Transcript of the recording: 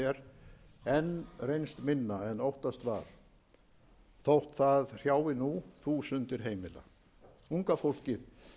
minna en óttast var þótt það hrjái nú þúsundir heimila unga fólkið